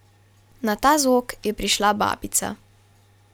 Na ta zvok je prišla babica.